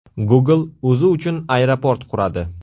Google o‘zi uchun aeroport quradi.